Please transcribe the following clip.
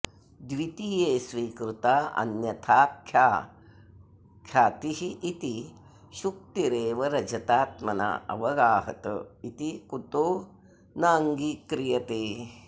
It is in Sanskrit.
द्वितीये स्वीकृता अन्यथाख्यातिरिति शुक्तिरेव रजतात्मना अवगाहत इति कुतो नाङ्गीक्रियते